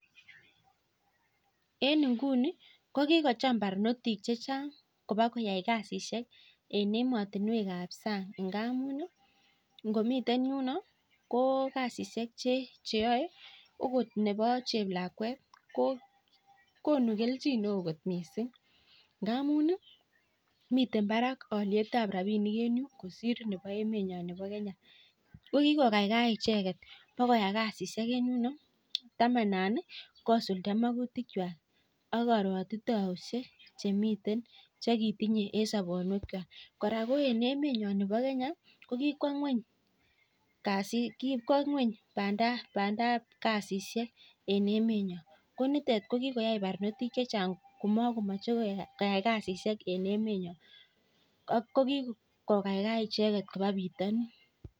Eng kunii kowaee kasishek barnotik chechang eng emet ab sang amuu mitei barak lipanet ab emet ab sang eng koraa kikwoo ngony kasishek eng emet nyoo nekikokaikai icheket kobaa bitonin